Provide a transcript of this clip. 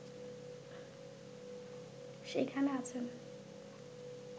সেখানে আছেন